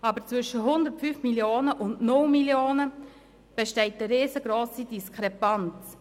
Aber zwischen 105 Mio. und 0 Mio. Franken besteht eine riesengrosse Diskrepanz.